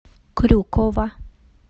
крюкова